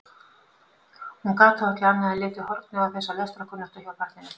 Þó gat hún ekki annað en litið hornauga þessa lestrarkunnáttu hjá barninu.